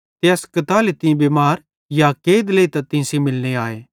ते अस कताली तीं बिमार या कैद लेइतां तीं सेइं मिलने आए